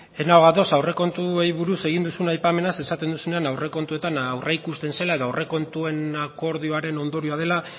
ez nago ados aurrekontuei buruz egin duzun aipamenaz esaten duzunean aurrekontuetan aurreikusten zela edo aurrekontuen akordioaren ondorioa dela